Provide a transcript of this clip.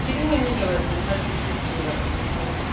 kirimwo n'imbeba ziguma zisuragura imikungungu.